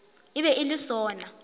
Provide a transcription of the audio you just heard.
e be e le sona